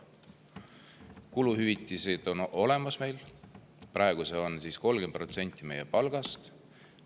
Kuluhüvitised on meil olemas, praegu need on 30% meie palgast.